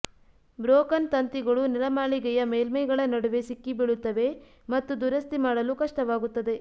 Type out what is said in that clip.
broken ತಂತಿಗಳು ನೆಲಮಾಳಿಗೆಯ ಮೇಲ್ಮೈಗಳ ನಡುವೆ ಸಿಕ್ಕಿಬೀಳುತ್ತವೆ ಮತ್ತು ದುರಸ್ತಿ ಮಾಡಲು ಕಷ್ಟವಾಗುತ್ತದೆ